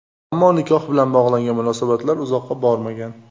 Ammo nikoh bilan bog‘langan munosabatlar uzoqqa bormagan.